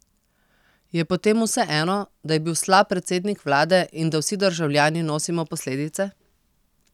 Je potem vseeno, da je bil slab predsednik vlade in da vsi državljani nosimo posledice?